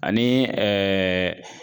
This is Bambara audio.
Ani ɛɛ